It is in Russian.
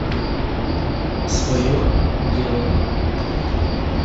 свое дело